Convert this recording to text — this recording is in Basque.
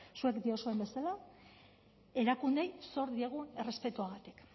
zuek diozuen bezala erakundeei zor diegun errespetuagatik